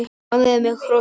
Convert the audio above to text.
Ánægður með hrósið.